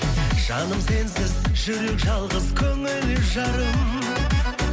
жаным сенсіз жүрек жалғыз көңіл жарым